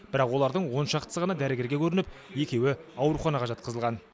бірақ олардың он шақтысы ғана дәрігерге көрініп екеуі ауруханаға жатқызылған